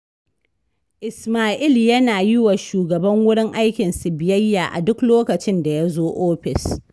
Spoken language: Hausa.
Ismail yana yi wa shugaban wurin aikinsu biyayya a duk lokacin da ya zo ofis